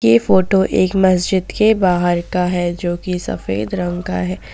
ये फोटो एक मस्जिद के बाहर का है जो की सफेद रंग का है।